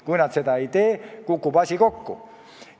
Kui nad seda ei tee, kukub asi kokku.